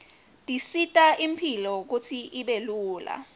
tisita imphilo kutsi ibe lula